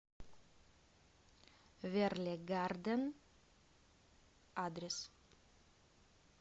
верле гарден адрес